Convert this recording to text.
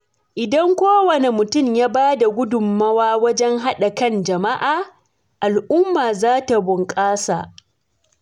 Idan kowane mutum ya ba da gudunmawa wajen haɗa kan jama’a, al’umma za ta bunƙasa.